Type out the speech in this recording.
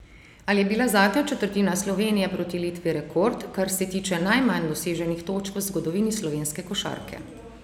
Ali je bila zadnja četrtina Slovenije proti Litvi rekord, kar se tiče najmanj doseženih točk v zgodovini slovenske košarke?